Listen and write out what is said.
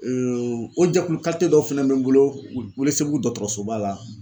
o jɛkulu dɔw fɛnɛ be n bolo Welesebugu dɔgɔtɔrɔsoba la